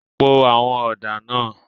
Po àwọn ọ̀dà náà.